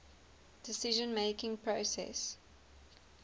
decision making process